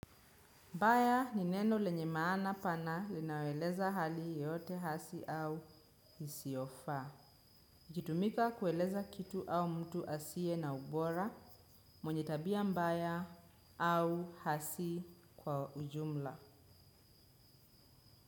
Mbaya ni neno lenye maana pana linayoeleza hali yoyote hasi au isiofaa. Ikiitumika kueleza kitu au mtu asiye na ubora mwenye tabia mbaya au hasi kwa ujumla.